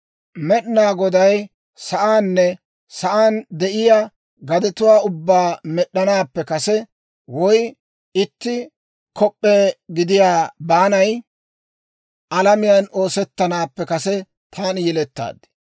Med'inaa Goday sa'aanne sa'aan de'iyaa gadetuwaa ubbaa med'd'anaappe kase, woy itti kop'p'e gidiyaa baanay alamiyaan oosettanaappe kase taani yelettaad.